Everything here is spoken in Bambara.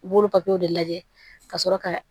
I b'olu papiyew de lajɛ ka sɔrɔ ka